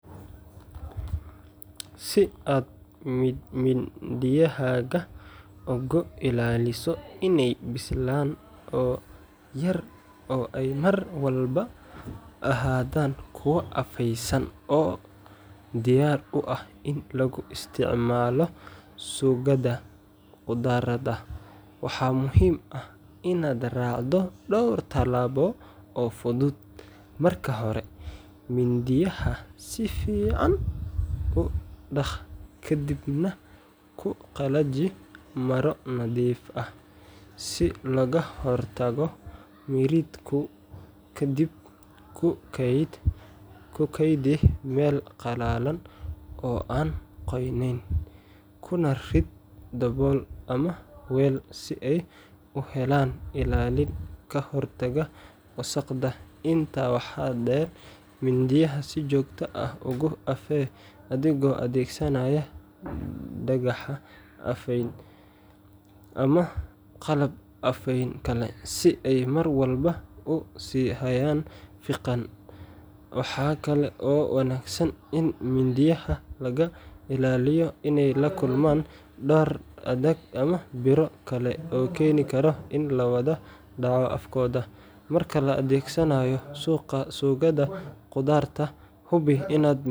Si aad mindiyahaaga uga ilaaliso inay bisilaan oo ay mar walba ahaadaan kuwo afaysan oo diyaar u ah in lagu isticmaalo suugada khudradda, waxaa muhiim ah inaad raacdo dhowr talaabo oo fudud. Marka hore, mindiyaha si fiican u dhaq ka dibna ku qallaji maro nadiif ah si looga hortago miridhku. Kadib, ku keydi meel qalalan oo aan qoyanayn, kuna rid dabool ama weel si ay u helaan ilaalin ka hortagta wasakhda. Intaa waxaa dheer, mindiyaha si joogto ah ugu afee adigoo adeegsanaya dhagax afeyn whetstone ama qalab afeyn kale, si ay mar walba u sii hayaan fiiqan. Waxa kale oo wanaagsan in mindiyaha laga ilaaliyo inay la kulmaan dhar adag ama biro kale oo keeni kara in la dhaawaco afkooda. Marka la adeegsanayo suugada khudradda, hubi inaad mindiyaha.